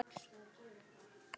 Það orðaval kom frá henni.